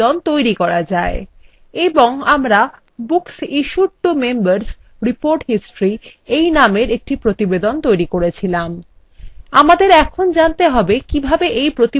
এবং আমরা books issued to members: report history এই নামের এর একটি প্রতিবেদন তৈরী করেছিলাম আমাদের এখন জানতে হবে কিভাবে এই প্রতিবেদনটি পরিবর্তন করা যায়